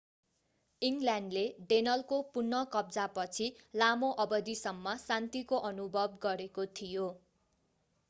इङ्ग्ल्यान्डले डेनलको पुनः कब्जापछि लामो अवधिसम्म शान्तिको अनुभव गरेको थियो